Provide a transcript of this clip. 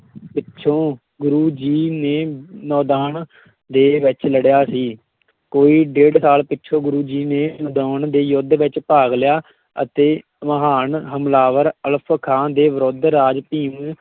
ਪਿੱਛੋਂ ਗੁਰੂ ਜੀ ਨੇ ਨਦੌਣ ਦੇ ਵਿੱਚ ਲੜਿਆ ਸੀ ਕੋਈ ਡੇਢ ਸਾਲ ਪਿੱਛੋਂ ਗੁਰੂ ਜੀ ਨੇ ਨਦੌਣ ਦੇ ਯੁੱਧ ਵਿੱਚ ਭਾਗ ਲਿਆ ਅਤੇ ਮਹਾਨ ਹਮਲਾਵਰ ਅਲਫ਼ ਖਾਂ ਦੇ ਵਿਰੁੱਧ ਰਾਜਾ ਭੀਮ